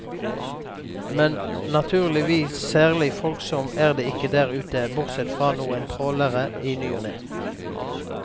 Men, naturligvis, særlig folksomt er det ikke der ute, bortsett fra noen trålere i ny og ne.